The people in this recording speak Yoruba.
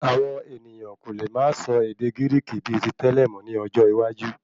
Àwọn ènìyàn kò lè máa sọ ède Gíríkì bíi tí tẹlẹ mọ ní ọjọ́ iwájú